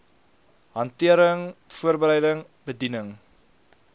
hantering voorbereiding bediening